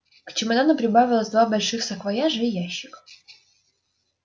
к чемодану прибавились два больших саквояжа и ящик